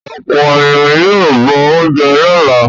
Ọ̀pọ̀ ènìyàn ni yóò bọ oúnjẹ lọ́la.